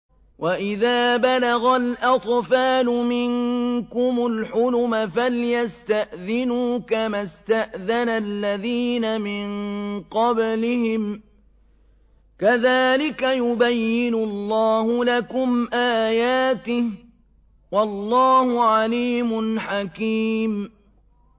وَإِذَا بَلَغَ الْأَطْفَالُ مِنكُمُ الْحُلُمَ فَلْيَسْتَأْذِنُوا كَمَا اسْتَأْذَنَ الَّذِينَ مِن قَبْلِهِمْ ۚ كَذَٰلِكَ يُبَيِّنُ اللَّهُ لَكُمْ آيَاتِهِ ۗ وَاللَّهُ عَلِيمٌ حَكِيمٌ